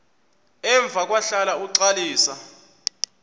emva kwahlala uxalisa